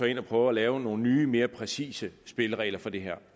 ind og prøver at lave nogle nye mere præcise spilleregler for det her